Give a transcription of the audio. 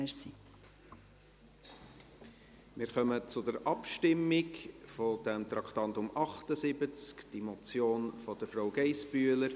Wir kommen zur Abstimmung zum Traktandum 78, der Motion von Frau Geissbühler.